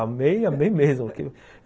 Amei, amei mesmo.